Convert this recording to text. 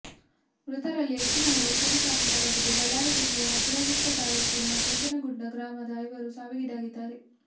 ಮೃತರಲ್ಲಿ ಹೆಚ್ಚಿನವರು ಕೂಲಿ ಕಾರ್ಮಿಕರಾಗಿದ್ದು ಬಳ್ಳಾರಿ ಜಿಲ್ಲೆಯ ಶಿರಗುಪ್ಪ ತಾಲೂಕಿನ ಕೆಂಚನಗುಡ್ಡ ಗ್ರಾಮದ ಐವರು ಸಾವಿಗೀಡಾಗಿದ್ದಾರೆ